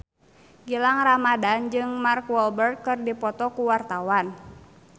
Gilang Ramadan jeung Mark Walberg keur dipoto ku wartawan